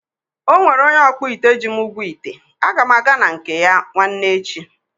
Ọnwere onye ọkpụite ji m ụgwọ ite, aga m aga na nke ya nwanne echi